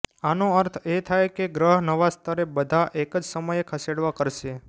આનો અર્થ એ થાય કે ગ્રહ નવા સ્તરે બધા એક જ સમયે ખસેડવા કરશે